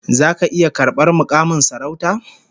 Zaka iya karbar mukamin sarauta?